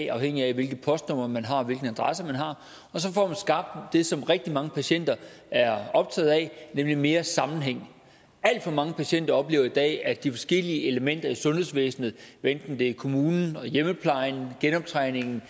er afhængigt af hvilket postnummer man har hvilken adresse man har og så får man skabt det som rigtig mange patienter er optaget af nemlig mere sammenhæng alt for mange patienter oplever i dag at de forskellige elementer i sundhedsvæsenet hvad enten det er kommunen hjemmeplejen genoptræningen